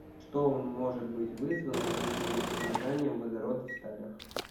что может быть вызвано повышенным содержанием водорода в сталях